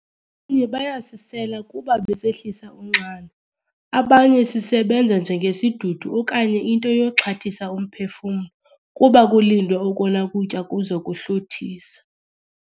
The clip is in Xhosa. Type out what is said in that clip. nye bayasisela kuba besehlisa unxano, abanye sisebenza njengesidudu okanye into yokuxhathisa umphefumlo kuba kulindwe okona kutya kuzokuhluthisa.